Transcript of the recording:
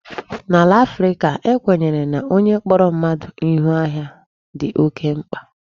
N'ala Africa, e kwenyere na onye kpọrọ mmadụ Ihu ahịa dị oké mkpa.